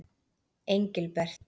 Engilbert